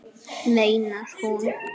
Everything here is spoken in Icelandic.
Hver ein